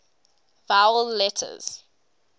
vowel letters